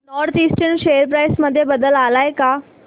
north eastern share price मध्ये बदल आलाय का